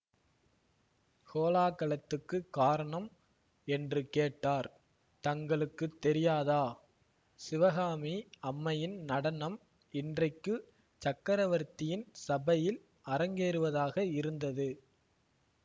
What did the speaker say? கோலாகலத்துக்குக் காரணம் என்று கேட்டார் தங்களுக்கு தெரியாதா சிவகாமி அம்மையின் நடனம் இன்றைக்கு சக்கரவர்த்தியின் சபையில் அரங்கேறுவதாக இருந்தது